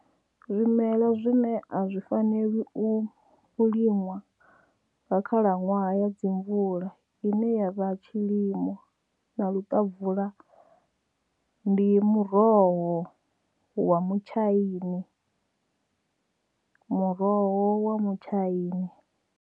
Zwimelwa zwine a zwi faneli u linwa nga khalaṅwaha ya dzimvula ine ya vha tshilimo na luṱavula ndi muroho wa mutshaini muroho wa mutshaini.